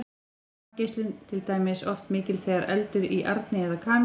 varmageislun er til dæmis oft mikil þegar eldur er í arni eða kamínu